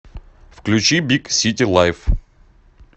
включи биг сити лайф